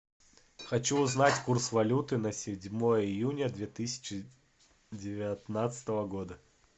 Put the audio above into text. хочу узнать курс валюты на седьмое июня две тысячи девятнадцатого года